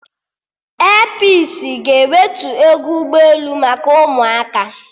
Airpisi ga-ewetu ego ụgbọ elu maka ụmụaka